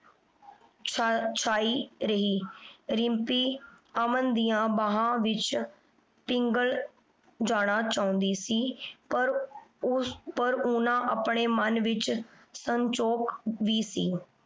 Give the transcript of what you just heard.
ਛਾਈ ਰਹੀ। ਰਿੰਪੀ ਅਮਨ ਦੀਆਂ ਬਾਹਾਂ ਪਿਘਲ ਜਾਣਾ ਚਾਹੁੰਦੀ ਸੀ ਪਰ ਉਸ ਪਰ ਉਨ੍ਹਾਂ ਆਪਣੇ ਮਨ ਵਿਚ ਸੰਕੋਚ ਵੀ ਸੀ।